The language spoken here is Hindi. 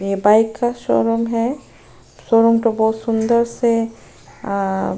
ये बाइक का शोरूम है शोरूम को बहुत सुंदर से अ --